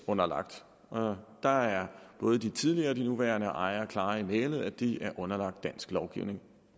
underlagt og der er både de tidligere og de nuværende ejere klare i mælet altså at de er underlagt dansk lovgivning og